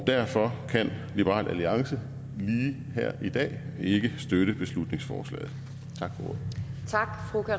derfor kan liberal alliance lige her i dag ikke støtte beslutningsforslaget tak